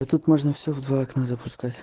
да тут можно все в два окна